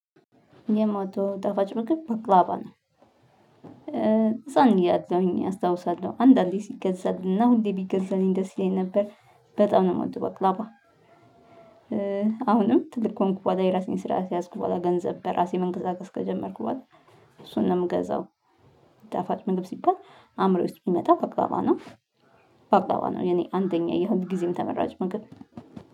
የምወደው ጣፋጭ ምግብ በቅላባ ነው። ህፃን እያለሁኝ አስታውሳለሁ አንዳንዴ ሲገዛልን እና ሁሌ ቢገዛልኝ ደስ ይለኝ ነበር በጣም ነው የምወደው ባቅላባ። አሁንም ትልቅ ከሆንኩ በኋላ የራሴን ስራ ከያዝኩ በኋላ ገንዘብ በራሴ መንቀሳቀስ ከጀመርኩ በኋላ እሱን ነው የምገዛው። ጣፋጭ ምግብ ሲባል አእምሮዬ ውስጥ የምመጣው በቅላባ ነው። በቅላባ ነው የኔ አንደኛ ሁል ጊዜም ተመራጭ ምግብ።